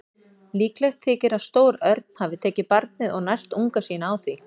Líklegt þykir að stór örn hafi tekið barnið og nært unga sína á því.